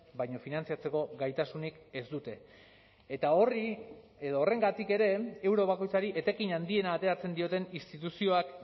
baina finantzatzeko gaitasunik ez dute eta horri edo horrengatik ere euro bakoitzari etekin handiena ateratzen dioten instituzioak